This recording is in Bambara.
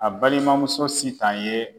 A balimamuso SITAN ye.